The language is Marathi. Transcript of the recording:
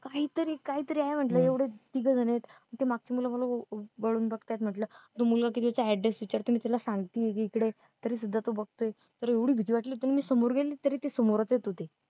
काहीतरी काहीतरी अं म्हंटलं एवढ तिघ जनयेत ती मागची मुलं मला बघत्यात म्हटलं तो मुलगा तिकडचा address विचारतोय मी त्याला सांगतेय कि इकडंय तरी तो बघतोय एवढी भीती वाटली कि मी समोर